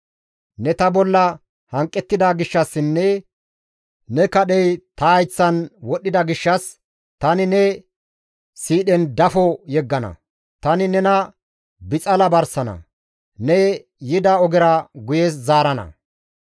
Ne ta bolla hanqettida gishshassinne ne kadhey ta hayththan wodhdhida gishshas tani ne siidhen dafo yeggana; tani nena bixala barsana; ne yida ogera nena guye zaarana.